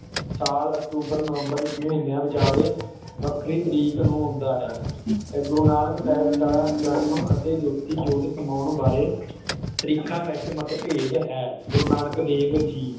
ਸਾਲ ਅਕਤੂਬਰ ਨਵੰਬਰ ਇਸ ਮਹੀਨਿਆਂ ਵਿਚਾਲੇ ਵੱਖਰੀ ਤਰੀਕ ਨੂੰ ਹੁੰਦਾ ਹੈ ਇਹ ਗੁਰੂ ਨਾਨਕ ਸਾਹਿਬ ਦਾ ਜਨਮ ਅਤੇ ਜੋਤੀ ਜੋਤ ਸਮਾਉਣ ਬਾਰੇ ਤਰੀਕਾਂ ਵਿਚ ਮਤਭੇਦ ਹੈ ਗੁਰੂ ਨਾਨਕ ਦੇਵ ਜੀ